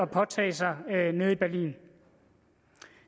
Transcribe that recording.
påtage sig nede i berlin